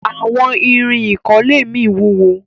àwon Irin ikole mí wúwo.